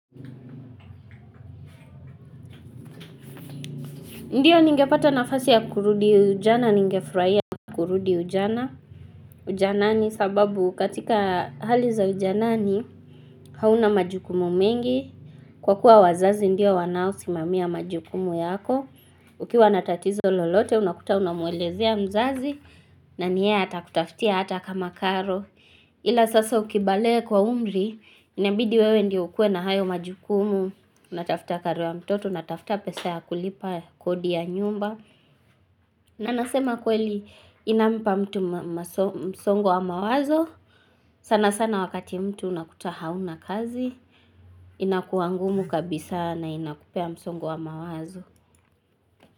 Ndiyo ningepata nafasi ya kurudi ujana, ningefurahia kurudi ujana, ujanani sababu katika hali za ujanani hauna majukumu mengi, kwa kuwa wazazi ndio wanaosimamia majukumu yako, ukiwa na tatizo lolote unakuta unamwelezea mzazi na ni yeye atakutafutia hata kama karo. Ila sasa ukibalehe kwa umri, inabidi wewe ndiye ukuwe na hayo majukumu, unatafuta karo ya mtoto, natafuta pesa ya kulipa kodi ya nyumba. Na nasema kweli inampa mtu msongo wa mawazo, sana sana wakati mtu unakuta hauna kazi, inakua ngumu kabisa na inakupea msongo wa mawazo.